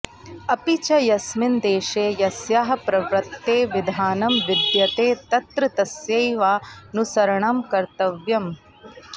अपि च यस्मिन् देशे यस्याः प्रवृत्तेः विधानं विद्यते तत्र तस्यैवानुसरणं कर्तव्यम्